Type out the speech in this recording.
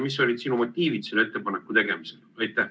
Mis olid sinu motiivid selle ettepaneku tegemisel?